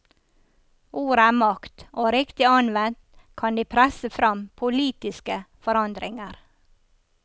Ord er makt, og riktig anvendt kan de presse fram politiske forandringer.